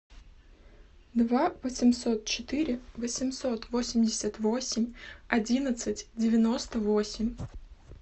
два восемьсот четыре восемьсот восемьдесят восемь одиннадцать девяносто восемь